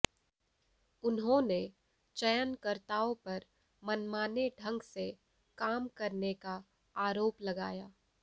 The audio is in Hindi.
उन्होंने चयनकर्ताओं पर मनमाने ढंग से काम करने का आरोप लगाया